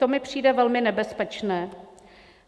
To mi přijde velmi nebezpečné.